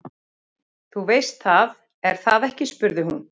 Þú veist það, er það ekki spurði hún.